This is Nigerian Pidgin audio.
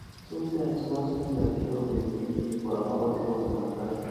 sometimes mass media dey help educate pipo about health mata